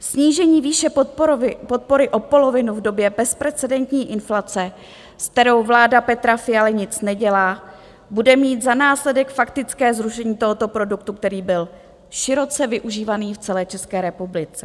Snížení výše podpory o polovinu v době bezprecedentní inflace, s kterou vláda Petra Fialy nic nedělá, bude mít za následek faktické zrušení tohoto produktu, který byl široce využívaný v celé České republice.